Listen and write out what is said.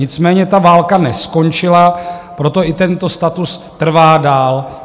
Nicméně ta válka neskončila, proto i tento status trvá dál.